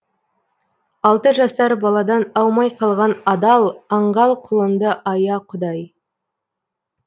алты жасар баладан аумай қалған адал аңғал құлыңды ая құдай